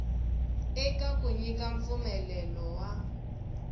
eka ku nyika mpfumelelo wa